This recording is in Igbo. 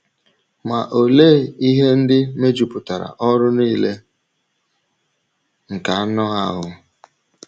Ma olee ihe ndị mejupụtara ọrụ nile nke anụ ahụ́?